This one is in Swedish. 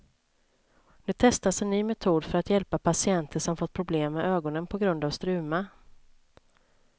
Nu testas en ny metod för att hjälpa patienter som fått problem med ögonen på grund av struma.